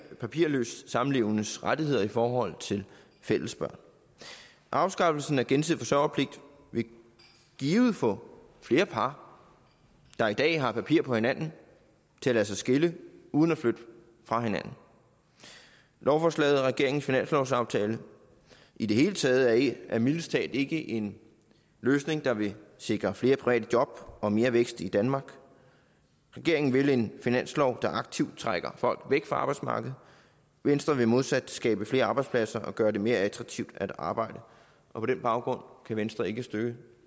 papirløst samlevendes rettigheder i forhold til fælles børn afskaffelsen af gensidig forsørgerpligt vil givet få flere par der i dag har papir på hinanden til at lade sig skille uden at flytte fra hinanden lovforslaget regeringens finanslovsaftale i det hele taget er mildest talt ikke en løsning der vil sikre flere private job og mere vækst i danmark regeringen vil en finanslov der aktivt trækker folk væk fra arbejdsmarkedet venstre vil modsat skabe flere arbejdspladser og gøre det mere attraktivt at arbejde og på den baggrund kan venstre ikke støtte